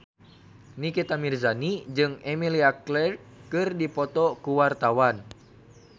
Nikita Mirzani jeung Emilia Clarke keur dipoto ku wartawan